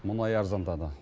мұнай арзандады